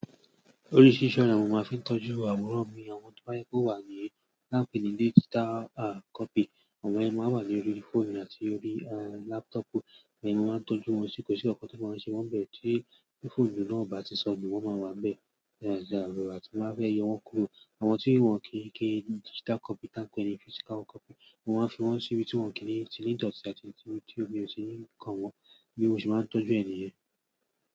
Orísirísi ọ́nà ni mo máa ń fi tọ́jú àwòrán mi. Àwọn tó bá yí kó wà ní láàfin ní ilé digital copy, àwọn ẹ máa wà lórí fóònù àti orí laptopu, èmi máa ń tọ́jú wọn sì kò sí jò sí nkànkan to ma ṣe wọ́n bẹ̀ tí fónù náà ò bá ti sọnù, wọ́n máa wà bẹ́ẹ̀. You understand? Àbí mo máa bẹ yọ wọ́n kuro. Àwọn tí wọ́n kìí kí digital copy tán pẹ̀lú physical copy, mo máa ń fi wọ́n sí ibi tí wọ́n kì í ti ní ìdọ̀tí àti tí o ti òbí o ti ní nǹkan wọn, bí mo ṣe máa ń tọ́jú ènìyàn.